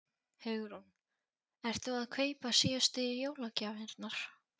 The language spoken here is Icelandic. Hugrún: Ert þú að kaupa síðustu jólagjafirnar?